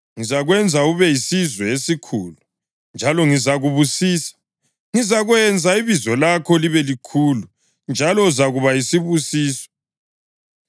Ngizakwenza ube yisizwe esikhulu njalo ngizakubusisa; ngizakwenza ibizo lakho libe likhulu, njalo uzakuba yisibusiso.